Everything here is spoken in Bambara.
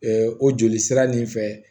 o joli sira nin fɛ